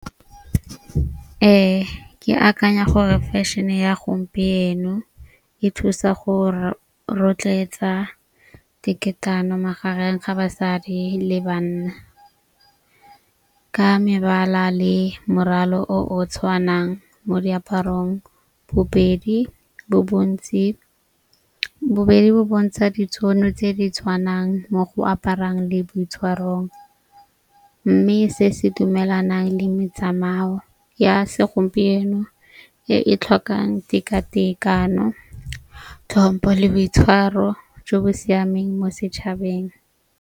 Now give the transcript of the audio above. Ee, ke akanya gore fashion-e ya gompieno e thusa go rotloetsa diketana magareng ga basadi le banna, ka mebala le morwalo o o tshwanang mo diaparong. Bobedi bo bontsi bobedi bo bontsha ditšhono tse di tshwanang mo go aparang le boitshwarong. Mme se se dumelanang le metsamayo ya segompieno e e tlhokang tekatekano, tlhompo le boitshwaro jo bo siameng mo setšhabeng.